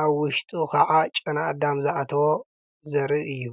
አብ ውሽጡ ከዓ ጨና አዳም ዝአተዎ ዘርኢ እዩ፡፡